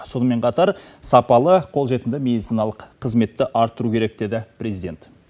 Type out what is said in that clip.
сонымен қатар сапалы қолжетімді медициналық қызметті арттыру керек деді президент